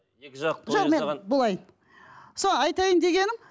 былай сол айтайын дегенім